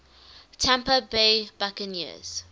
tampa bay buccaneers